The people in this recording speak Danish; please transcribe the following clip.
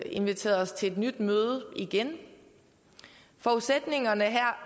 inviteret os til et nyt møde forudsætningen